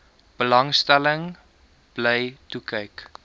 belangstelling bly toekyk